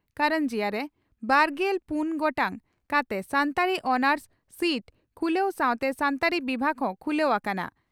ᱠᱟᱨᱟᱱᱡᱤᱭᱟ) ᱨᱮ ᱵᱟᱨᱜᱮᱞ ᱯᱩᱱ ᱜᱚᱴᱟᱝ ᱠᱟᱛᱮ ᱥᱟᱱᱛᱟᱲᱤ ᱚᱱᱟᱨᱥ ᱥᱤᱴ ᱠᱷᱩᱞᱟᱹ ᱥᱟᱣᱛᱮ ᱥᱟᱱᱛᱟᱲᱤ ᱵᱤᱵᱷᱟᱜᱽ ᱦᱚᱸ ᱠᱷᱩᱞᱟᱹ ᱟᱠᱟᱱᱟ ᱾